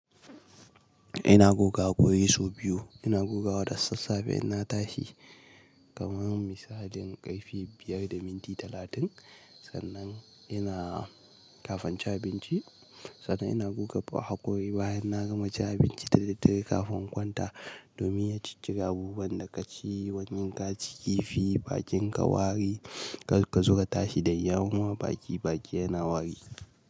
Ina guge haƙori sau biyu. Ina gugewa da sassafe ina tashi kamar misalin ƙarfe biyar da minti talatin. Sannan ina kafanci abinci, sannan ina guge haƙori bayan na gama ci abinci tire tire kafin kwanta domin na ciccire abubuwan da ka ci. Wannan ka ci kifi bakinka wari ka zuga tashi da yawa baki baki yana wari.